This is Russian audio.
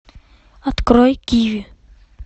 открой киви